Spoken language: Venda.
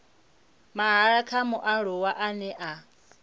mahala kha mualuwa ane a